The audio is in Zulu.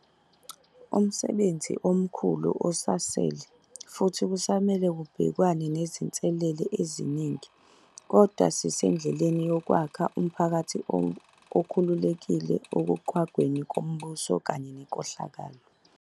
Umsebenzi omkhulu usasele, futhi kusamele kubhekwane nezinselele eziningi. Kodwa sisendleleni yokwakha umphakathi okhululekile ekuqhwagweni kombuso kanye nenkohlakalo.